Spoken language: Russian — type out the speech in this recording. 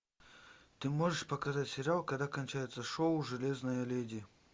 ты можешь показать сериал когда кончается шоу железная леди